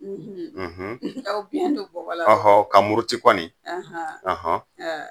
aw biɲɛn do bɔgɔla fɔlɔ ka muruti kɔni